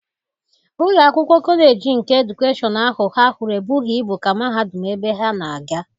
Ụlọ akwụkwọ kọleji nke edukeshọn ahụ ha hụrụ ebughị ibu ka mahadum ebe ha na-agụ.